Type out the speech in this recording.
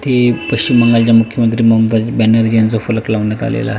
ते पश्चिम बंगालच्या मुख्य मंत्री ममता बॅनर्जी यांचा फलक लावण्यात आलेला आहे.